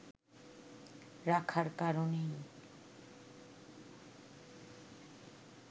রাখার কারণেই